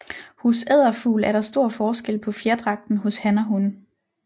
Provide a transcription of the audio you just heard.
Hos edderfugl er der stor forskel på fjerdragten hos han og hun